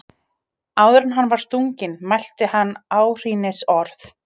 Áður en hann var stunginn mælti hann áhrínisorð.